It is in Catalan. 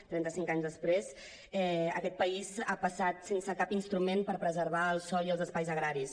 trenta cinc anys després aquest país ha passat sense cap instrument per preservar el sòl i els espais agraris